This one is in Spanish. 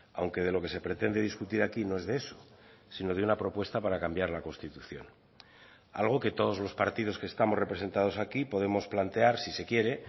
aunque de lo que se pretende discutir aquí no es de eso sino de una propuesta para cambiar la constitución algo que todos los partidos que estamos representados aquí podemos plantear si se quiere